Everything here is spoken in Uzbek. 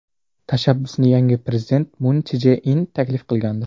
Tashabbusni yangi prezident Mun Chje In taklif qilgandi.